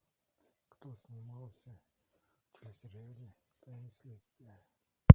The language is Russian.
кто снимался в телесериале тайны следствия